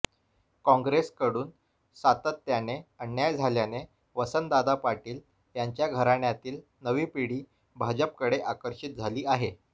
काँग्रेसकडून सातत्याने अन्याय झाल्याने वसंतदादा पाटील यांच्या घराण्यातील नवी पिढी भाजपकडे आकर्षित झाली आहे